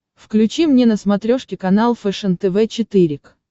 включи мне на смотрешке канал фэшен тв четыре к